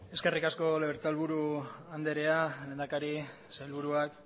eskerrik asko legebiltzarburu andrea lehendakari sailburuak